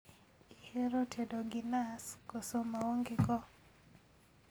Ihero tedo gi nas koso maonge go?